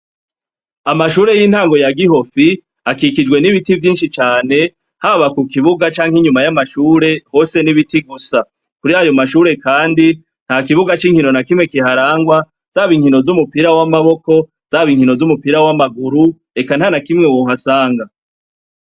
Amashure y'intango ya gihofi akikijwe n'ibiti bitandukanye, haba kukibuga cank'inyuma y'amashure hose n'ibiti gusa, kurayo mashure kandi ntakibuga c'inkino kihari nakimwe kiharangwa zab'inkino z'umupira w'amaboko, zab'inkino z'umupira w'amaguru, eka ntanakimwe wohasanga.